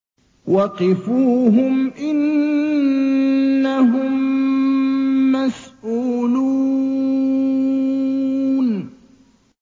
وَقِفُوهُمْ ۖ إِنَّهُم مَّسْئُولُونَ